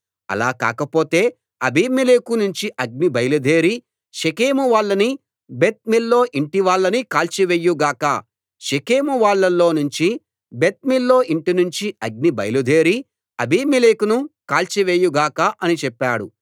అలా కాకపోతే అబీమెలెకు నుంచి అగ్ని బయలుదేరి షెకెము వాళ్ళనీ బెత్ మిల్లో యింటి వాళ్ళనీ కాల్చివేయు గాక షెకెము వాళ్ళలో నుంచి బెత్ మిల్లో యింటినుంచి అగ్ని బయలుదేరి అబీమెలెకును కాల్చివేయు గాక అని చెప్పాడు